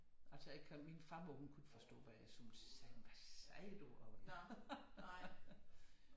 Altså jeg kan min farmor hun kunne ikke forstå hvad jeg sådan sagde hvad sagde du!